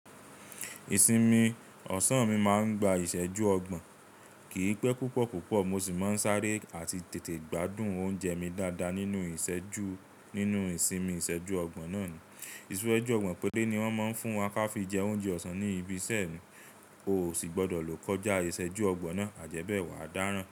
Ìsinmi ọ̀sán mi máa ń gba ìṣẹ́jú ọgbọ̀n, kì í pẹ́ púpọ̀ púpọ̀, mo sì máa ń sáré àti tètè gbádùn oúnjẹ mi dáadáa nínú ìṣẹ́jú, nínú ìsinmi ìṣẹ́jú ọgbọ̀n náà ni. Ìṣẹ́jú ọgbọ̀n péré ni wọ́n máa ń fún wa ká fi jẹ oúnjẹ ọ̀sán ní ibi iṣẹ́ mi, o ò sì gbọdọ̀ lò kọjá ìṣẹ́jú ọgbọ̀n náà, àjẹ́bẹ̀ wàá dáràn.